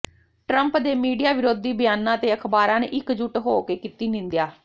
Trump ਦੇ media ਵਿਰੋਧੀ ਬਿਆਨਾਂ ਤੇ ਅਖ਼ਬਾਰਾਂ ਨੇ ਇੱਕਜੁਟ ਹੋ ਕੇ ਕੀਤੀ ਨਿੰਦਿਆ